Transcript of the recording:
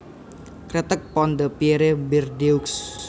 Kreteg Pont de Pierre Bordeaux